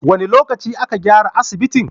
Wane lokacin da aka gyara asibitin?